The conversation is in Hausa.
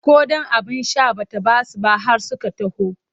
Ko ɗan abin sha ba ta ba su ba har suka taho.